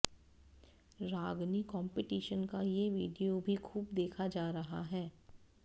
रागनी competition का ये video भी खूब देखा जा रहा है